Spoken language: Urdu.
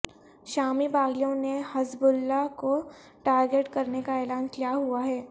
شامی باغیوں نے حزب اللہ کو ٹارگٹ کرنے کا اعلان کیا ہوا ہے